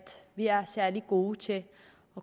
vi ikke er særlig gode til at